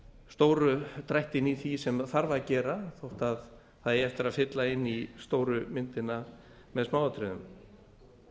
stóru drættina í því sem þarf að gera þó það eigi eftir að fylla upp í stóru myndina með smáatriðum